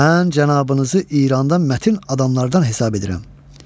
Mən cənabınızı İranda mətin adamlardan hesab edirəm.